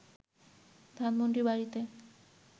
ধানমণ্ডির বাড়িতে